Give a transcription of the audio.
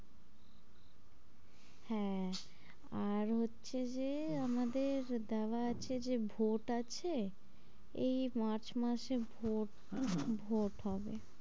হ্যাঁ, আর হচ্ছে যে আমাদের দেওয়া আছে যে ভোট আছে, এই march মাসে ভোট ভোট হবে।